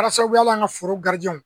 Kɛ la sababu ye hali an ka foro